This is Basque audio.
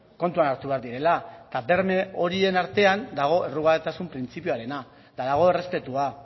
kontuan hartu behar direla eta berme horien artean dago errugabetasun printzipioarena eta dago errespetua